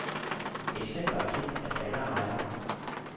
Eksempler er kendt af alle ejere.